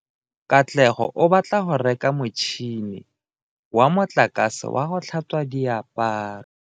Katlego o batla go reka motšhine wa motlakase wa go tlhatswa diaparo.